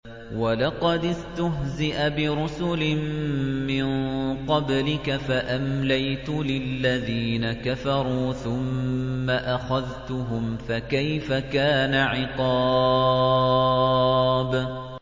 وَلَقَدِ اسْتُهْزِئَ بِرُسُلٍ مِّن قَبْلِكَ فَأَمْلَيْتُ لِلَّذِينَ كَفَرُوا ثُمَّ أَخَذْتُهُمْ ۖ فَكَيْفَ كَانَ عِقَابِ